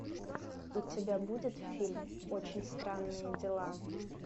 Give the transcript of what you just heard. у тебя будет фильм очень странные дела